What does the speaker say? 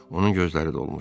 Onun gözləri dolmuşdu.